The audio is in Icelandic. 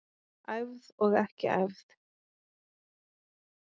Æfð og ekki æfð.